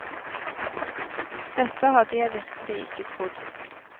Dette hadde jeg virkelig ikke trodd.